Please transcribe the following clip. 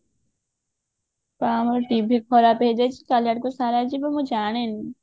ତ ଆମ TV ଖରାପ ହେଇଯାଇଛି କାଲି ଆଡକୁ ସାରା ଯିବ ମୁଁ ଜାଣିନି